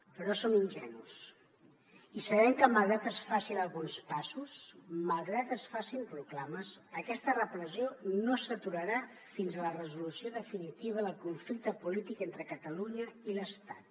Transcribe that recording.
però no som ingenus i sabem que malgrat que es facin alguns passos malgrat que es facin proclames aquesta repressió no s’aturarà fins a la resolució definitiva del conflicte polític entre catalunya i l’estat